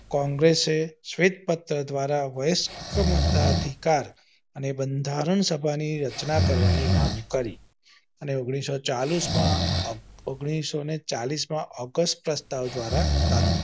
કોંગ્રેસે શ્વેત વસ્ત્ર દ્વારા ઉચ્ચતમ અધિકાર અને બંધારણ સભા ની રચના કરવાની માંગ કરી અને ઓન્ગ્લીસો ને ચાલીસ માં ઓન્ગ્લીસો ને ચાલીસ સ્પષ્ટ માં રચનાઓ દ્વારા